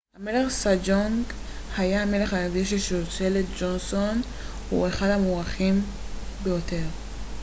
המלך סג'ונג היה המלך הרביעי של שושלת ג'וסון והוא אחד המוערכים ביותר